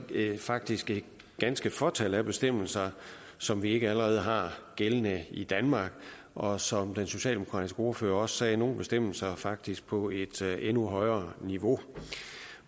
faktisk er et ganske fåtal af bestemmelser som vi ikke allerede har gældende i danmark og som den socialdemokratiske ordfører også sagde nogle bestemmelser faktisk på et endnu højere niveau